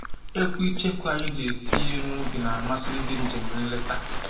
Ekwu icheku anyị ji esi ihe n'ubi na-amasị ndị njem nleta